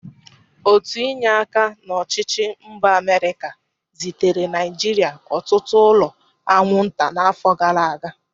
Otu inye aka n'ọchịchị mba Amịrịka zitere Naịjịrịa ọtụtụ ụlọ anwụnta n'afọ gara aga.